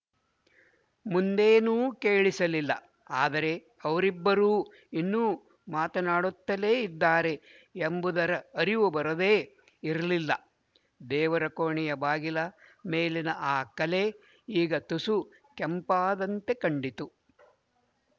ಮುಂದೇನೂ ಕೇಳಿಸಲಿಲ್ಲ ಆದರೆ ಅವರಿಬ್ಬರೂ ಇನ್ನೂ ಮಾತನಾಡುತ್ತಲೇ ಇದ್ದಾರೆ ಎಂಬುದರ ಅರಿವು ಬರದೇ ಇರಲಿಲ್ಲ ದೇವರ ಕೋಣೆಯ ಬಾಗಿಲ ಮೇಲಿನ ಆ ಕಲೆ ಈಗ ತುಸು ಕೆಂಪಾದಂತೆ ಕಂಡಿತು